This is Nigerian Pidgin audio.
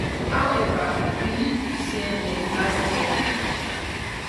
however e leak to cnn last year